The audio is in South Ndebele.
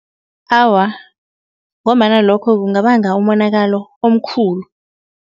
Awa, ngombana lokho kungabanga umonakalo omkhulu.